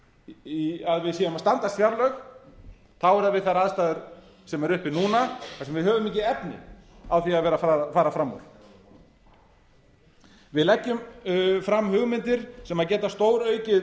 er mikilvægt að við séum að standast fjárlög þá er það við þær aðstæður sem eru uppi núna af því við höfum ekki efni á því að vera að fara fram úr við leggjum fram hugmyndir sem geta stóraukið